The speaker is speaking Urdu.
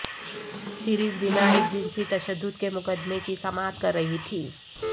سیریزینا ایک جنسی تشدد کے مقدمے کی سماعت کر رہی تھیں